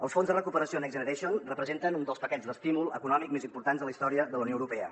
els fons de recuperació next generation representen un dels paquets d’estímul econòmic més importants de la història de la unió europea